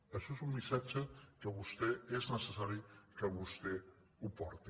això és un missatge que és necessari que vostè el porti